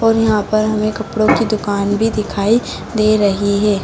और यहाँ पर हमें कपड़ों की दुकान भी दिखाई दे रही है।